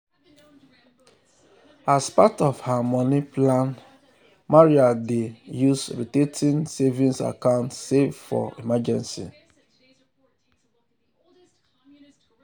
as part of her money plan maria dey use rotating savings account save for emergency.